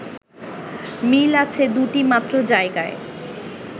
মিল আছে দুটি মাত্র জায়গায়